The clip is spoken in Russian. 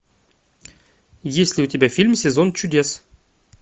есть ли у тебя фильм сезон чудес